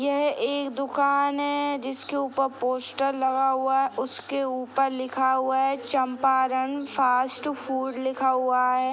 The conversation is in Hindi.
यह एक दुकान है जिसके ऊपर पोस्टर लगा हुआ है | उसके ऊपर लिखा हुआ है चंपारण फास्ट फूड लिखा हुआ है |